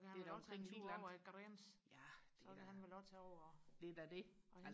Det er da noget helt andet ja det er da det er da det